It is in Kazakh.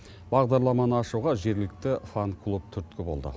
бағдарламаны ашуға жергілікті фан клуб түрткі болды